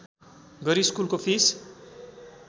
गरी स्कुलको फिस